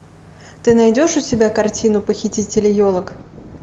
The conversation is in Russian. ты найдешь у себя картину похитители елок